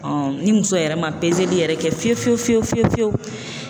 ni muso yɛrɛ ma yɛrɛ kɛ fiyewu fiyewu fiyewu fiyewu fiyewu.